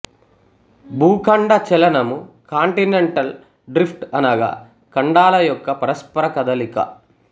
భూఖండ చలనము continental drift అనగా ఖండాల యొక్క పరస్పర కదలిక